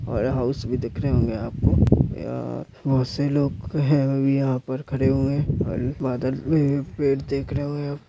और हाउस भी दिख रहे होंगे आपको या बहोत से लोग है अभी यहाँ पर खड़े हुए और बादल भी पेड़ दिख रहे --